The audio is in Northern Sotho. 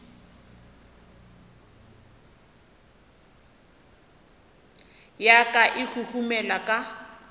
ya ka e huhumela ka